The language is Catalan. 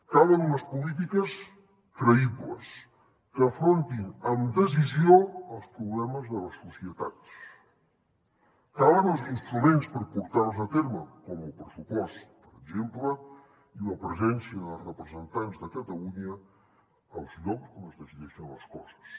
calen unes polítiques creïbles que afrontin amb decisió els problemes de les societats calen els instruments per portar les a terme com el pressupost per exemple i la presència de representants de catalunya als llocs on es decideixen les coses